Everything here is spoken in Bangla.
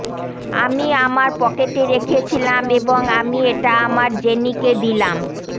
আমি আমার পকেটে রেখেছিলাম এবং আমি এটা আমার জেনিকে দিলাম